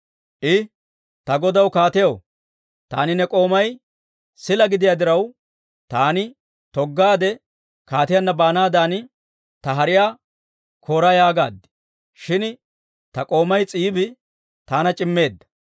I, «Ta godaw kaatiyaw, taani ne k'oomay sila gidiyaa diraw, ‹Taani toggaadde kaatiyaanna baanaadan ta hariyaa koora› yaagaad. Shin ta k'oomay S'iibi taana c'immeedda;